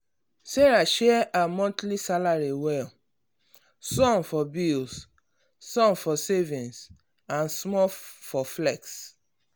sarah share her monthly salary well some for bills some for savings and small for flex.